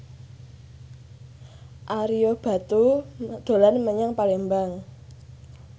Ario Batu dolan menyang Palembang